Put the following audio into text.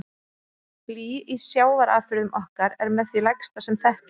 Blý í sjávarafurðum okkar er með því lægsta sem þekkist.